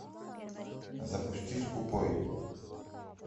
запусти скупой